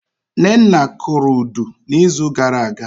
Nnenna kụrụ Udu na izu gara aga